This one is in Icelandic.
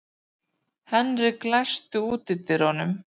Henrik, læstu útidyrunum.